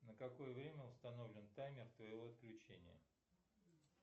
на какое время установлен таймер твоего отключения